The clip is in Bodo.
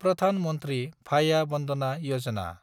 प्रधान मन्थ्रि भाया बन्दना यजना